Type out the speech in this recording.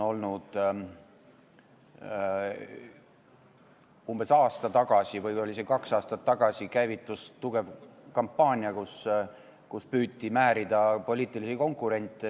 Umbes aasta või kaks aastat tagasi käivitus tugev kampaania, kui püüti määrida poliitilisi konkurente.